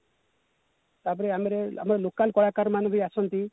ତାପରେ ଆମର ଆମେ local କଳାକାର ମାନେ ବି ଆସନ୍ତି